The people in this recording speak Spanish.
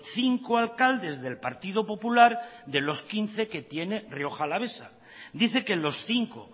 cinco alcaldes del partido popular de los quince que tiene rioja alavesa dice que los cinco